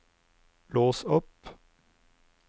lås opp